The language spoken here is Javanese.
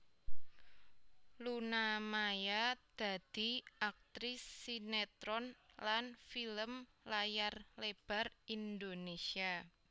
Luna Maya dadi aktris sinetron lan film layar lebar Indonésia